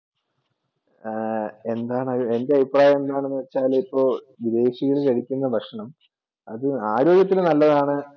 ആഹ് എന്താണ് എന്ത് അഭിപ്രായം എന്ന് പറഞ്ഞാൽ ഇപ്പോ അതിപ്പോ അത് ആരോഗ്യത്തിന് നല്ലതാണ്